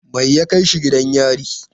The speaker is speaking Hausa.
Me ya kai shi gidan yari?